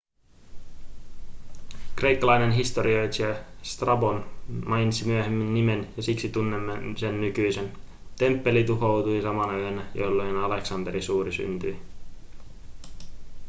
kreikkalainen historioitsija strabon mainitsi myöhemmin nimen ja siksi tunnemme sen nykyisin temppeli tuhoutui samana yönä jolloin aleksanteri suuri syntyi